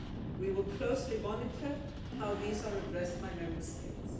We will closely monitor how these are addressed by Member States.